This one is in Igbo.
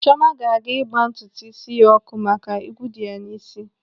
Chiọma ga-aga ịgba ntutu ísí ya ọkụ maka ị́gwụ́ nọ ya n'ị́sị́.